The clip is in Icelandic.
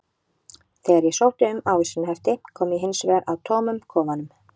Þegar ég sótti um ávísanahefti kom ég hins vegar að tómum kofanum.